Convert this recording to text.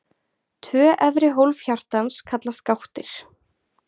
Tvö efri hólf hjartans kallast gáttir.